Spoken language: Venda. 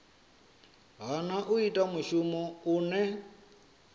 hana u ita mushumo une